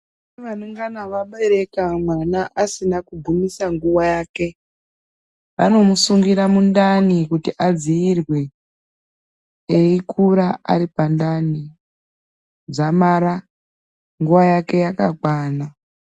Kune vanongana vabereka mwana asina kugumisa nguwa yake vanomusungira mundani kuti adzirwe eikura aripandani dzamara nguwa yake yakakwana.